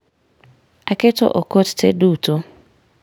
Aketo okot te duto